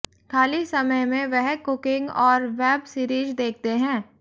खाली समय में वह कुकिंग और वेब सीरीज देखते हैं